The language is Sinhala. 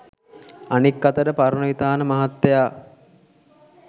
අනික් අතට පරණවිතාන මහත්තයා